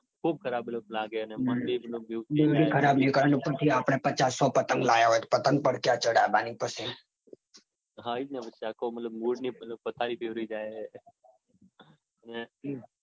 ખુબ ખરાબ ખરાબ લાગે અને દોરી પણ ખરાબ નીકળે ઉપરથી આપડે પચાસ સો પતંગ લાયા હોય તો પતંગ બી ક્યાં ચઢાવાની પછી હા ઈજ ને એટલે મતલબ આખી mood ની પથારી ફરી જાય અને